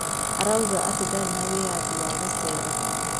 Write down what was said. arauga ati ndari na wiathi wa gucera